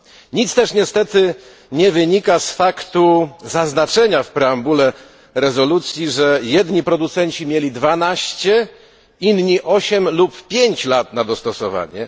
Nic też niestety nie wynika z faktu zaznaczenia w preambule rezolucji, że jedni producenci mieli 12, inni 8 lub 5 lat na dostosowanie.